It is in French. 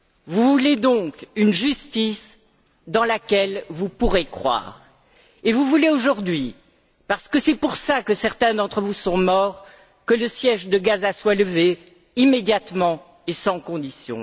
Vous voulez donc une justice dans laquelle vous pourrez croire, et vous voulez aujourd'hui, parce que c'est pour cela que certains d'entre vous sont morts, que le siège de Gaza soit levé, immédiatement et sans condition.